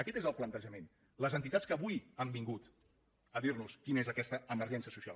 aquest és el plantejament les entitats que avui han vingut a dir nos quina és aquesta emergència social